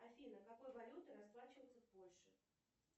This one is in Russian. афина какой валютой расплачиваются в польше